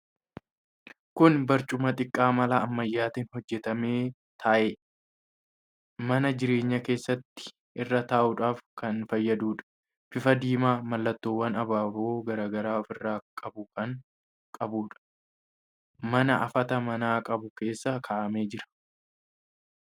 Kun barcuma xiqqaa mala ammayyaatiin hojjetame ta'ee, mana jireenyaa keessatti irra taa'uudhaaf kan fayyaduudha. Bifa diimaa, mallattoowwan abaaboo garaa garaa ofirraa qabu kan qabuudha. Mana hafata manaa qabu keessa kaa'amee jira.